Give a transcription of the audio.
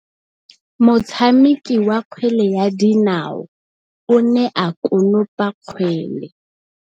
Motshameki wa kgwele ya dinaô o ne a konopa kgwele.